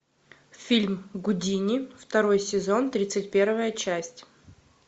фильм гудини второй сезон тридцать первая часть